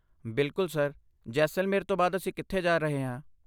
ਬਿਲਕੁੱਲ ਸਰ, ਜੈਸਲਮੇਰ ਤੋਂ ਬਾਅਦ ਅਸੀਂ ਕਿੱਥੇ ਜਾ ਰਹੇ ਹਾਂ?